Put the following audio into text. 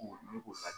ne ko